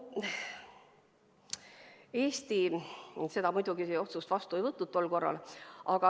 Eesti seda otsust muidugi tol korral vastu ei võtnud.